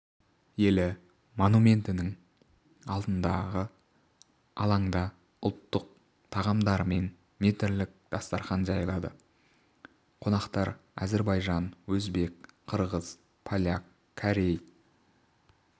елі монументінің алдындағы алаңда ұлттың тағамдарымен метрлік дастарқан жайылды қонақтар әзербайжан өзбек қырғыз поляк корей